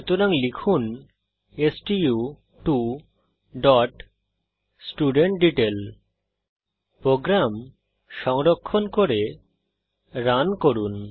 সুতরাং লিখুন stu2স্টুডেন্টডিটেইল প্রোগ্রাম সংরক্ষণ করে রান করুন